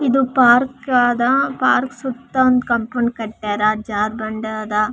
ಇದು ಪಾರ್ಕ್ ಆದ ಪಾರ್ಕ್ ಸುತ್ತ ಒಂದು ಕಂಪೌಂಡ್ ಕಟ್ಟ್ಯಾರ ಜಾರ್ಬಂಡಿ ಅದ.